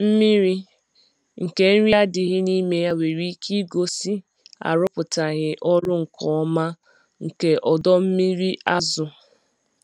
Mmiri nke nri adịghị n’ime ya nwere ike igosi arụpụtaghị ọrụ nke ọma nke ọdọ mmiri azụ.